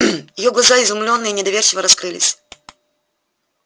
её глаза изумлённо и недоверчиво раскрылись